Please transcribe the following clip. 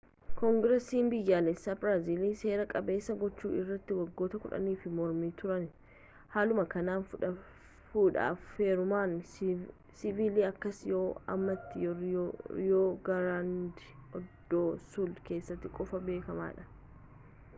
koongirasiin biyyaalessaa biraazil seera-qabeessa gochuu irratti waggoota 10if mormaa turani haaluma kanaan fudhaaf heerumni siivilii akkasii yeroo ammaatti riyoo giraandee doo suul keessatti qofa beekamaadha